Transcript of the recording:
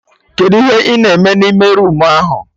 Kedụ ihe ị na eme na ime roomu ahụ?